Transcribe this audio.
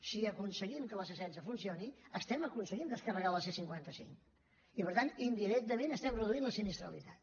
si aconseguim que la c setze funcioni estem aconseguint descarregar la c cinquanta cinc i per tant indirectament estem reduint la sinistralitat